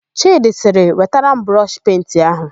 Chịdị sịrị, "wetara m brọshị penti áhụ̀"!